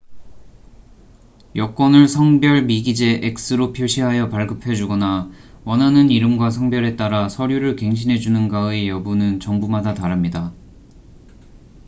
여권을 성별 미기재x로 표시하여 발급해 주거나 원하는 이름과 성별에 따라 서류를 갱신해 주는가의 여부는 정부마다 다릅니다